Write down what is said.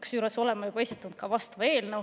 Kusjuures me oleme vastava eelnõu juba esitanud.